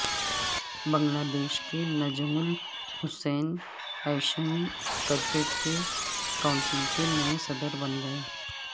بنگلہ دیش کے Nazmul Hassan Asian cricket council کے نئے صدر بن گئے